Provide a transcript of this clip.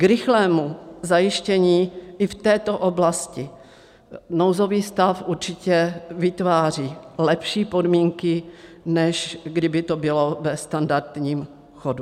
K rychlému zajištění i v této oblasti nouzový stav určitě vytváří lepší podmínky, než kdyby to bylo ve standardním chodu.